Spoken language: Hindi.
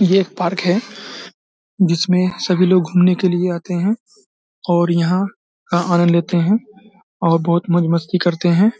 यह एक पार्क है जिसमें सभी लोग घूमने के लिए आते है और यहाँ का आनंद लेते है और बहुत मौज मस्ती करते है